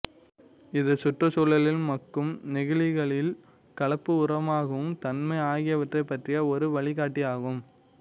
இது சுற்று சூழலில் மக்கும் நெகிழிகளின் கலப்பு உரமாகும் தன்மை ஆகியவற்றை பற்றிய ஒரு வழிகாட்டியாகும்